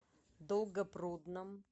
долгопрудном